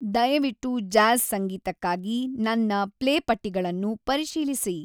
ದಯವಿಟ್ಟು ಜಾಝ್ ಸಂಗೀತಕ್ಕಾಗಿ ನನ್ನ ಪ್ಲೇಪಟ್ಟಿಗಳನ್ನು ಪರಿಶೀಲಿಸಿ